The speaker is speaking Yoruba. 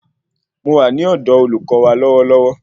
Mo wà ní ọ̀dọ olùkọ wa lọwọlọwọ